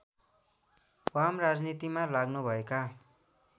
वाम राजनीतिमा लाग्नुभएका